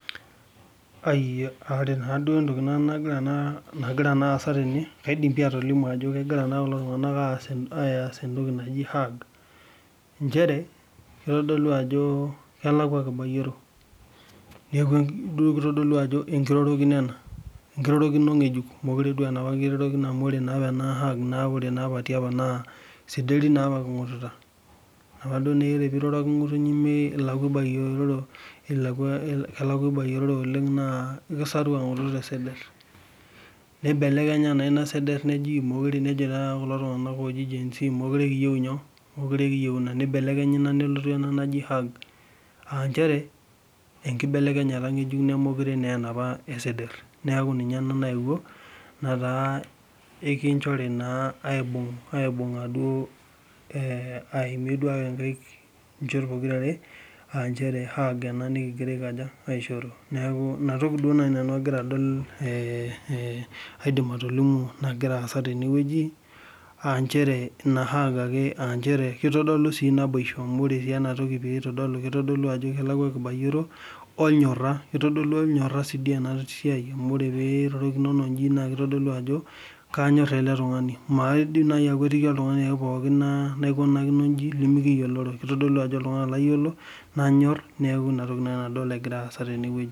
ore entoki nagira aasa tene naa kegira as entoki naji hag, echere kitodolu ajo kelakwa ebayioro, neeku ijo kitodolu ajo enkiroro kino ena ng'ejuk mookire aa eneapa amu ore naa apa naa isederi king'ututa, ore duo apa pee iroroki ng'utunyi naa kelakua ibayiororo naa isederi naa apa king'ututa nibelekenya naa neeku hag, aa ichere enkibelekenyata eng'ejuk neeku mookire naa eshukoi siadi, neeku ninye ena neyewuo, neeku inatoki duo naji nanu aidim atolimu naa kitodolu sii ajo kanyor ele tung'ani amu maidim sii naaji ake najo kanyor oltung'ani lemayiolo.